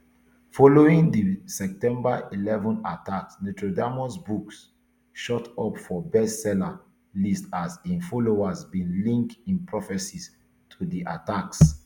following di september eleven attacks nostradamus books shoot up for bestseller lists as im followers bin link im prophecies to di attacks